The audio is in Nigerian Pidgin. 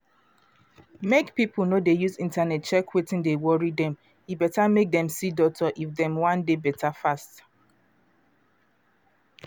mek pipo no dey use internet check wetin dey worry dem e better mek dem see doctor if dem wan dey better fast.